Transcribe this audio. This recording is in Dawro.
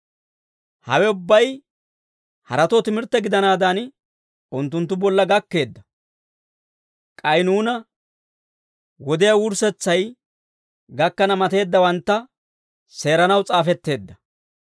Hawe ubbay haratoo timirtte gidanaadan unttunttu bolla gakkeedda. K'ay nuuna wodiyaa wurssetsay gakkana mateeddawantta seeranaw s'aafetteedda.